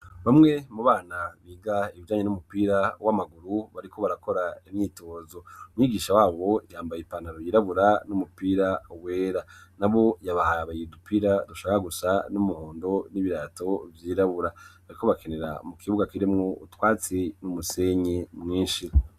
bamwe mu bana biga ibijanye n'umupira w'amaguru bariko barakora imyitozo mwigisha wabo yambaye ipantaro yirabura n'umupira wera na bo yabahaye udupira dushaka gusa n'umuhondo n'ibirato vyirabura bariko bakinira mu kibuga kirimwo utwatsi n'umusenyi mwinshi